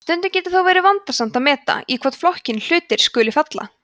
stundum getur þó verið vandasamt að meta í hvorn flokkinn hlutir skuli falla